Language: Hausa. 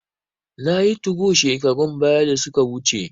Nayi tugo shekarun baya da suka wuce